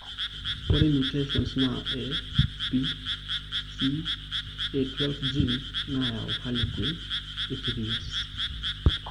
Ore mutations naa ABCA12 gene nayau harlequin ichthyosis.